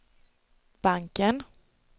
banken